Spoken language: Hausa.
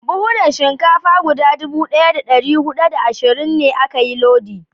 Buhunan Shinkafa guda dubu daya da dari hudu da ashirin a ka yi lodin